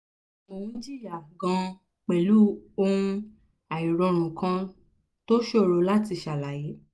mo ń jìyà gan pẹ̀lú ohun àìrórun kan tó ṣòro láti ṣàlàyé